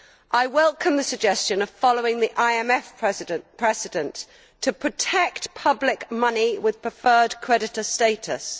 I welcome the suggestion of following the IMF precedent to protect public money with preferred creditor status.